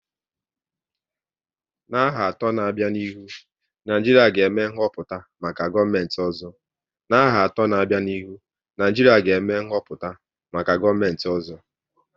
N'aha atọ n'abia n'ihu, Naijiria ga eme nhoputa maka gọọmenti ọzọ